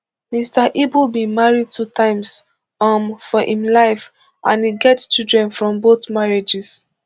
mr ibu bin marry two times um for im life and e get children from both marriages